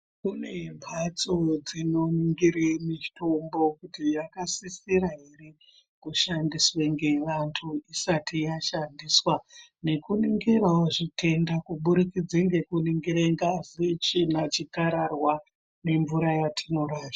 Kune mbatso dzinoningire mitombo kuti yakasisira ere kushandiswe ngevantu isati yashandiswa nekuningirawo zvitenda kubudikidze ngekuningire ngazi, tsvina, zvikararwa nemvura yatinorasha.